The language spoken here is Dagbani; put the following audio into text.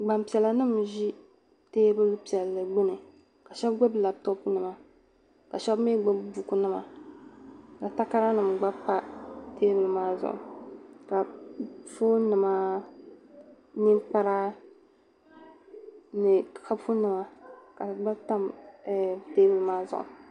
Gbaŋpiɛlanims n ʒi teebuli piɛlli gbuni ka sheba gbubi laptorpinima ka mii gbubi bukunima ka takaranima gba pa teebuli maa zuɣu ka foonimaa, ninkpara ni kapu nima ka di gba tam teebuli maazuɣu